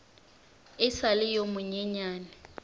e sa le yo monyenyane